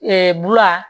bula